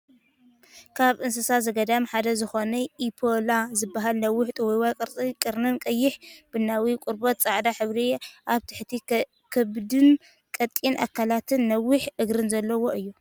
ካብ እንስሳ ዘገዳም ሓደ ዝኮነ ኢምፓላ ዝበሃል ነዊሕ ጥውይዋይ ቅርፂ ቀርኒን ቀይሕ-ቡናዊ ቆርበት፣ ፃዕዳ ሕብሪ ኣብ ትሕቲ ከብዱን ቀጢን ኣካላትን ነዊሕ እግርን ዘለዎ እዩ።